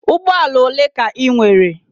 Ụgbọala ole ka I nwere?